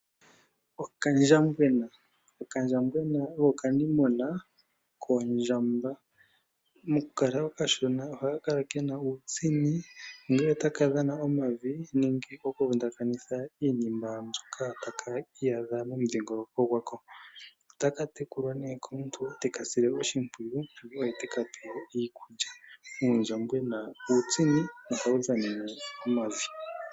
Okandjambwena, okandjambwena oko okanimuna kondjamba moku kala okashona ohaka kala kena uutsini ongele otaka dhana omavi nenge oku vundakanitha iinima mbyoka taka iyadha momudhingoloko gwako. Otaka tekulwa nee komuntu teka sile oshimpwiyu, oye teka pe iikulya. Uundjambwena uutsini no hawu dhanene omavi